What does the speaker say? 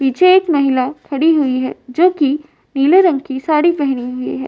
पीछे एक महिला खड़ी हुई है जो कि नीले रंग की साड़ी पहनी हुई है।